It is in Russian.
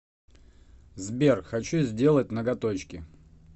сбер хочу сделать ноготочки